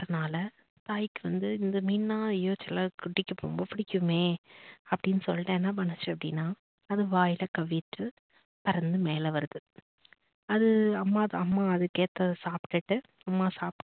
சாப்பிட்டதுனால தாய்க்கு வந்து இந்த மீனுனா ஐயோ சின்ன குட்டிக்கு ரொம்ப பிடிக்குமே அப்படின்னு சொல்லிட்டு என்ன பண்ணுச்சு அப்படின்னா அது வாயில கவ்விட்டு பறந்து மேல வருது அது அம்மா அம்மா அதுக்கேத்த சாப்பிட்டுட்டு அம்மா சாப்பிட்டு